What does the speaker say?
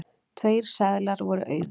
Tveir seðlar voru auðir.